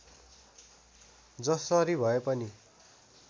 जसरी भए पनि